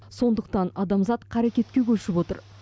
сондықтан адамзат қарекетке көшіп отыр